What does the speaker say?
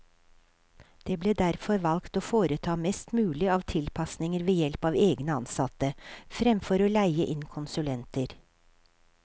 Det ble derfor valgt å foreta mest mulig av tilpasninger ved help av egne ansatte, fremfor å leie inn konsulenter.